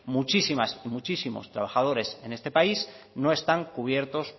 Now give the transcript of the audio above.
muchísimas y muchísimos trabajadores en este país no están cubierto